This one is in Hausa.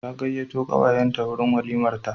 Ta gayyato kawayenta wurin walimarta.